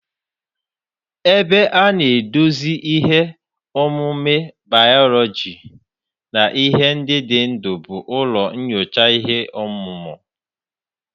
Ebe a na-eduzi ihe omume bayoloji na ihe ndị dị ndụ bụ ụlọ nyocha ihe ọmụmụ